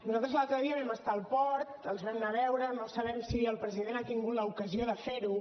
nosaltres l’altre dia vam estar al port els vam anar a veure no sabem si el president ha tingut l’ocasió de fer ho